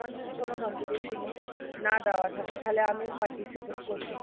আমার যদি কোন competition এ না দেওয়া থাকে তাইলে আমি participate করতে